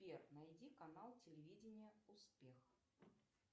сбер найди канал телевидения успех